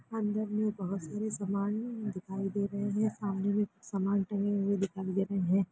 अंदर में बहोत सारे सामान दिखाई दे रहे हैं सामने में कुछ सामान टंगे हुए दिखाई दे रहे हैं।